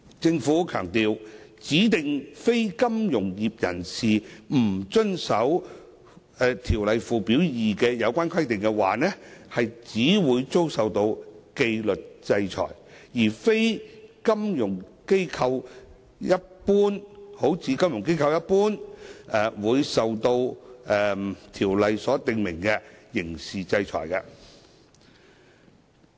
政府強調，如指定非金融業人士不遵守《條例》附表2的有關規定，只會遭受紀律制裁，而非如金融機構般會受到《條例》所訂明的刑事制裁。